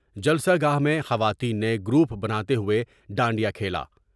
جلسہ گاہ میں خواتین نے گروپ بناتے ہوۓ ڈانڈ یا کھیلا ۔